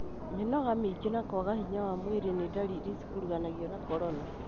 Mĩnoga mĩingĩ na kwaga hinya wa mwĩrĩ nĩ ndariri cikuruhanagio na corona.